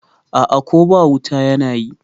A'a Ko ba wuta yana yi